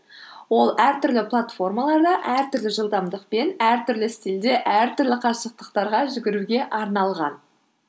ол әртүрлі платформаларда әртүрлі жылдамдықпен әртүрлі стильде әртүрлі қашықтықтарға жүгіруге арналған